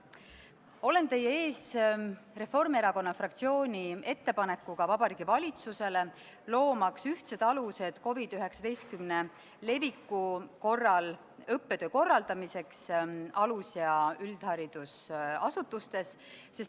Olen teie ees Reformierakonna fraktsiooni ettepanekuga Vabariigi Valitsusele, loomaks ühtsed alused COVID-19 leviku korral õppetöö korraldamiseks alus- ja üldharidusasutustes.